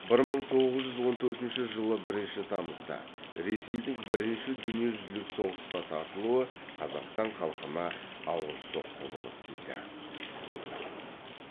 бір мың тоғыз жүз он төртінші жылы бірінші тамызда ресейдің бірінші дүниежүзілік соғысқа тартылуы қазақстан халқына ауыр соққы болып тиді